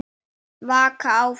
Vaka áfram.